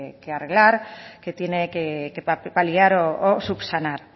que arreglar que tiene que paliar o subsanar